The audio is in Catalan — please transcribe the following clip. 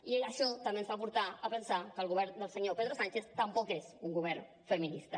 i això també ens fa portar a pensar que el govern del senyor pedro sánchez tampoc és un govern feminista